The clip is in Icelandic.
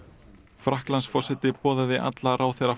Frakklandsforseti boðaði alla ráðherra